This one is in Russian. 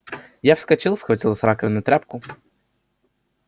я вскочил схватил с раковины тряпку